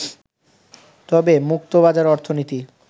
তবে মুক্তবাজার অর্থনীতি